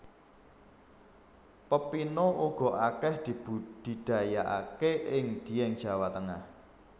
Pepino uga akeh dibudidayaake ing Dieng Jawa Tengah